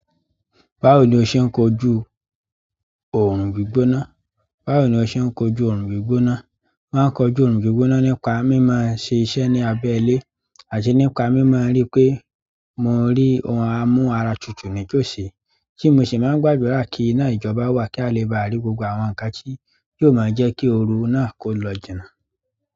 Báwo ni o ṣe ń kojú òorùn gbigbona? Báwo ni o ṣe ń kojú òrùn gbígbóná? Máa ń kojú òrùn gbígbóná nípa mí máa ń ṣe iṣẹ́ ní abẹ́ ilé àti nípa mí máa ń rí pé mo rí ohun amú ara tútù nítosì, tí mo sì máa ń gbàdúrà kí iná ìjọba wà kí a lè bá rí gbogbo àwọn nǹkan tí yóò máa jẹ́ kí òru náà kó lọ jìnà.